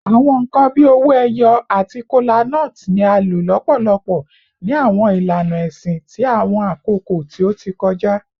Awọn nkan bii owo eyo ati kolanut ni a lo lọpọlọpọ ni awọn ilana ẹsin ti awọn akoko ti o ti kọja